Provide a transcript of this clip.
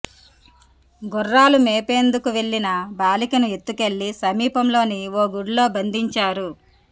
గుర్రాలు మేపేందుకు వెళ్లిన బాలికను ఎత్తుకెళ్లి సమీపంలోని ఓగుడిలో బంధిం చారు